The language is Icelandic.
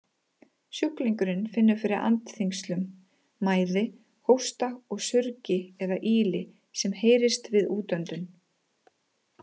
Sjúklingurinn finnur fyrir andþyngslum, mæði, hósta og surgi eða ýli sem heyrist við útöndun.